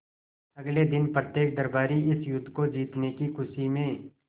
अगले दिन प्रत्येक दरबारी इस युद्ध को जीतने की खुशी में